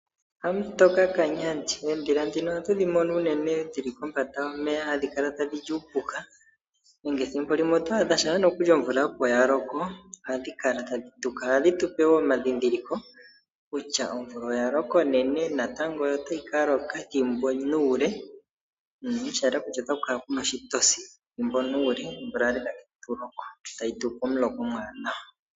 Hamutoka kanyandi, oondhila ndhino ohatu dhi mono uunene dhili kombanda yomeya hadhi kala tadhi li uupuka, nenge ethimbo limwe oto adha shaampa nokuli omvula opo ya loko hadhi kala tadhi tuka. Ohadhi tupe wo omandhindhiliko kutya omvula oya loka onene natango otayi ka loka ethimbo nuule sha yela kutya otaku kala kuna oshitosi, omvula tayi tupe omuloka omwaanawa.